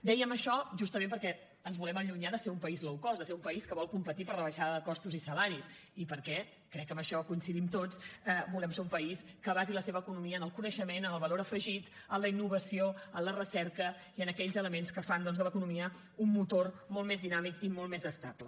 dèiem això justament perquè ens volem allunyar de ser un país low cost de ser un país que vol competir per la baixada de costos i salaris i perquè crec que en això hi coincidim tots volem ser un país que basi la seva economia en el coneixement en el valor afegit en la innovació en la recerca i en aquells elements que fan doncs de l’economia un motor molt més dinàmic i molt més estable